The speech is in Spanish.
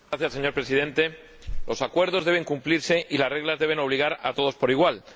Señor Presidente, los acuerdos deben cumplirse y las reglas deben obligar a todos por igual.